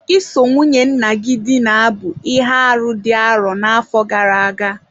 Iso nwunye nna gị dina bụ ihe arụ dị arọ n'afọ gara aga